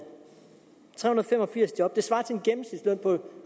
tre hundrede og fem og firs job svarer til en gennemsnitsløn på